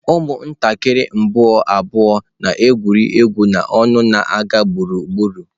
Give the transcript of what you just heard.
Ụmụntakịrị mbụ abụọ na-egwuri egwu n'ọṅụ na-aga gburugburu.